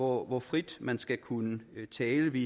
hvor frit man skal kunne tale vi